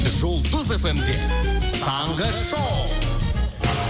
жұлдыз эф эм де таңғы шоу